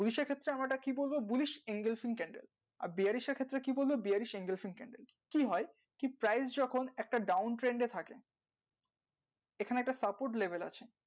bullish এর ক্ষেত্রে আমরা এটা কী বলবো আর bearish ক্ষেত্রে কী বলবো কী হয় ঠিক price যখন একটা down trend এ থাকে এখানে একটা support label আছে